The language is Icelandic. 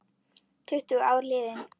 Tuttugu ár liðin.